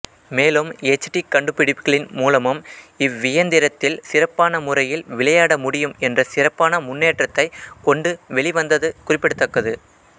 மேலும் H D கண்டுபிடிப்புகளின் மூலமும் இவ்வியந்திரத்தில் சிறப்பான முறையில் விளையாடமுடியும் என்ற சிறப்பான முன்னேற்றத்தைக் கொண்டு வெளிவந்தது குறிப்பிடத்தக்கது